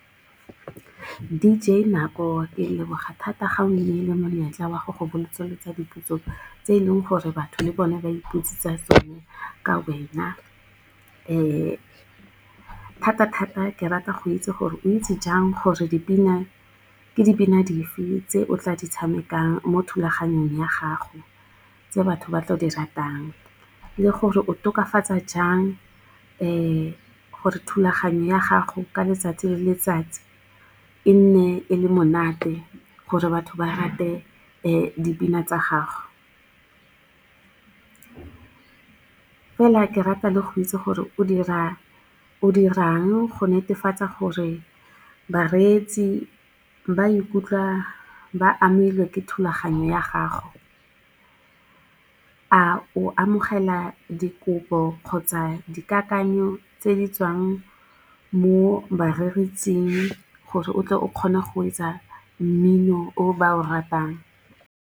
D_J Nako, ke leboga thata ga o nnile monyetla wa go go botsolotsa dipotso tse e leng gore batho le bone ba ipotsisa tsone, ka wena. Thata-thata, ke rata go itse gore o itse jang gore dipina ke dipina dife, tse o tla di tshamekang mo thulaganyong ya gago, tse batho ba tlo di ratang, le gore o tokafatsa jang gore thulaganyo ya gago ka letsatsi le letsatsi, e nne e le monate gore batho ba rate dipina tsa gago. Fela ke rata le go itse gore o dirang go netefatsa gore bareetsi ba ikutlwa ba amilwe ke thulaganyo ya gago. A o amogela dikopo kgotsa dikakanyo, tse di tswang mo bareetsing gore o tle o kgone go etsa mmino o ba o ratang?